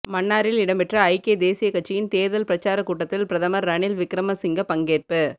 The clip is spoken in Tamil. மன்னாரில் இடம்பெற்ற ஐக்கிய தேசியக்கட்சியின் தேர்தல் பிரச்சாரக்கூட்டத்தில் பிரதமர் ரணில் விக்கிமசிங்க பங்கேற்பு